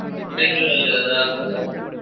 ಅಲ್ಲಿ ಆದ್ರೆ ಆಗ್ತದಾ?